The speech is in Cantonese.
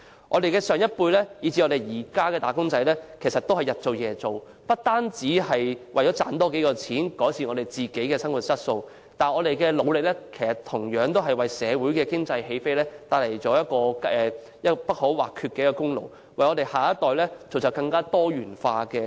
我們的上一輩以至現今的"打工仔"都日以繼夜地工作，不只為了多賺點錢，改善生活質素，同時也帶動香港經濟起飛，為下一代造就更多元化的出路，我們對社會作出貢獻，功不可沒。